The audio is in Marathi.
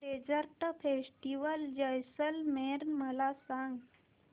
डेजर्ट फेस्टिवल जैसलमेर मला सांग